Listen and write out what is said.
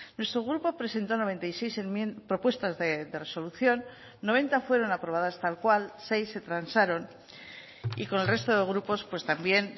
nuestro grupo presentó noventa y seis propuestas de resolución noventa fueron aprobadas tal cual seis se transaron y con el resto de grupos también